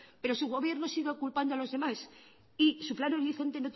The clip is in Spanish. pero su gobierno sigue culpando a los demás y su plan horizonte